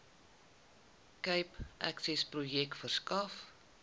cape accessprojek verskaf